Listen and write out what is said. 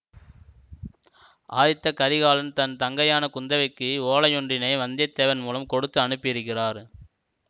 ஆதித்த கரிகாலன் தன் தங்கையான குந்தவைக்கு ஓலையொன்றினை வந்திய தேவன் மூலம் கொடுத்து அனுப்பியிருக்கிறார்